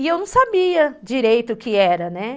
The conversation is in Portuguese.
E eu não sabia direito o que era, né?